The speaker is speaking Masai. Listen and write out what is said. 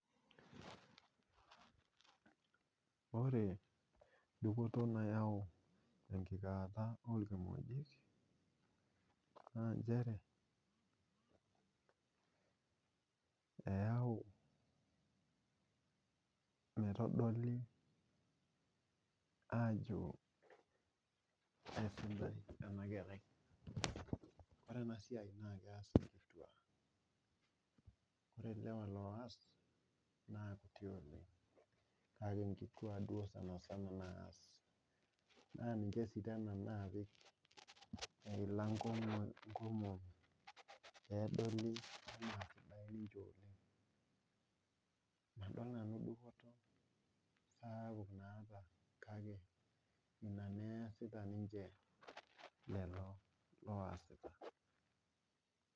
Ore dupoto nayau enkikaata onkimojik ,naa nchere eyau metodoli ajo eisidai ena kerai .ore ena siai naa kees nkiituak ,ore lewa looas na kuti oleng .kake nkiituak duo sanisana naas naa ninche sii naapik eilata nkomomi pee edoli anaa sidain ninche oleng .madol nanu dupoto nayau naa apa kake ina naa esita ninche lelo oosita.